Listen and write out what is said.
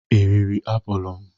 Ị riri apụl m?